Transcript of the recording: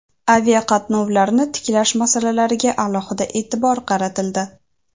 aviaqatnovlarni tiklash masalalariga alohida e’tibor qaratildi.